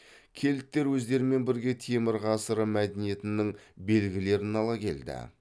кельттер өздерімен бірге темір ғасыры мәдениетінің белгілерін ала келді